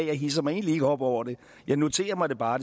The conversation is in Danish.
jeg hidser mig egentlig ikke op over det jeg noterer mig det bare